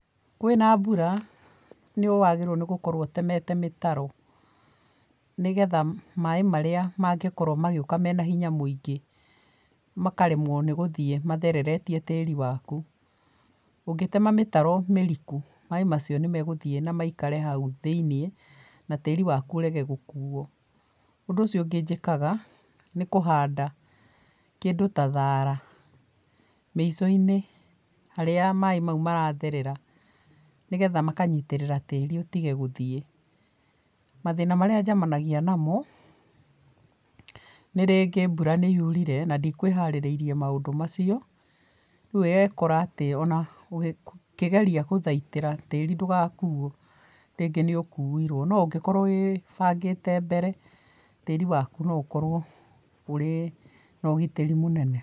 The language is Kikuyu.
Kwĩ na mbura nĩwagĩrĩirwo nĩgũkorwo ũtemete mĩtaro, nĩgetha maĩ marĩa mangĩkorwo magĩũka me na hinya mũingĩ makaremwo nĩgũthiĩ mathereretie tĩĩri waku. Ũngĩtema mĩtaro mĩriku maĩ macio nĩ megũthiĩ na maikare hau thĩiniĩ na tĩĩri waku ũrege gũkuo. Ũndũ ũcio ũngĩ njĩkaga nĩ kũhanda kĩndũ ta thara mĩico-inĩ harĩa maĩ mau maratherera nĩgetha makanyitĩrĩra tĩĩri ũtige gũthiĩ. Mathĩna marĩa njemanagia na mo nĩ rĩngĩ mbura nĩ yurire na ndikũĩharĩirie maũndũ macio, riũ ũgekora atĩ o na ũkĩgeria gũthaitĩra tĩĩri ndũgakuo, rĩngĩ nĩ ũkuirwo no ũngĩkorwo wĩbangĩte mbere tĩĩri waku no ũkorwo ũrĩ na ũgitĩri mũnene.